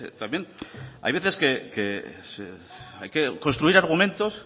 también hay veces hay que construir argumentos